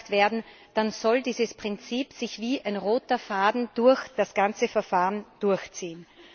beauftragt werden, dann soll dieses Prinzip sich wie ein roter Faden durch das ganze Verfahren durchziehen.